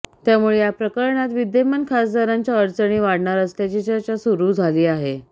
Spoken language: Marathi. त्यामुळे या प्रकरणात विद्यमान खासदारांच्या अडचणी वाढणार असल्याची चर्चा सुरू झाली आहे